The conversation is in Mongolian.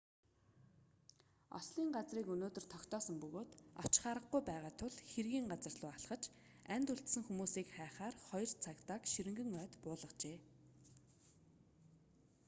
ослын газрыг өнөөдөр тогтоосон бөгөөд очих аргагүй байгаа тул хэргийн газар руу алхаж амьд үлдсэн хүмүүсийг хайхаар хоёр цагдааг ширэнгэн ойд буулгажээ